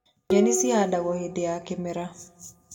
Nyeni cihandagwo hĩndĩ ya kĩmera.